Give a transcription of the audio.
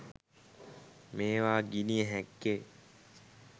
මේවා ගිණිය හැක්කේ